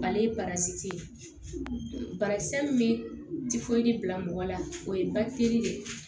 Ale ye barakisɛ min tɛ foyi bila mɔgɔ la o ye bafikiri de ye